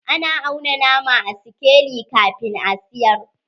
Ana auna nama a sikeli kafin a siyar.